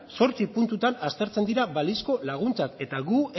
zortzi puntutan aztertzen dira balizko laguntzak eta guk